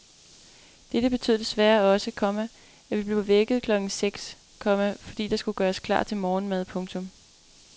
Dette betød desværre også, komma at vi blev vækket klokken seks , komma fordi der skulle gøres klar til morgenmad. punktum